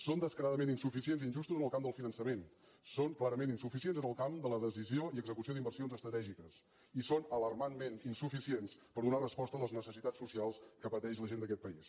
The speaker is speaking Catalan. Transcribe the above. són descaradament insuficients i injustos en el camp del finançament són clarament insuficients en el camp de la decisió i execució d’inversions estratègiques i són alarmantment insuficients per donar resposta a les necessitats socials que pateix la gent d’aquest país